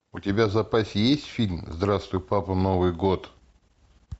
у тебя в запасе есть фильм здравствуй папа новый год